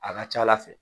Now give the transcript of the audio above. A ka ca ala fɛ